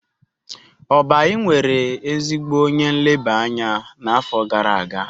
Oby nwere ezigbo onye nleba anya n'afọ gara aga.